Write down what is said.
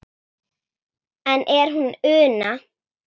Enn er hún Una